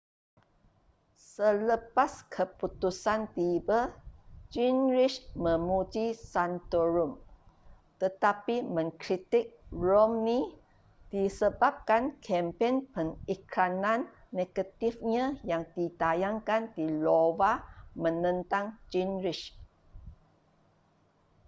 selepas keputusan tiba gingrich memuji santorum tetapi mengkritik romney disebabkan kempen pengiklanan negatifnya yang ditayangkan di iowa menentang gingrich